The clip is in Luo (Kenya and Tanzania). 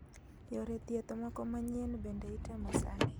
Yore thieth moko manyien bende itemo sani